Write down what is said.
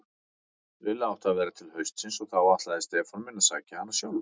Lilla átti að vera til haustsins og þá ætlaði Stefán minn að sækja hana sjálfur.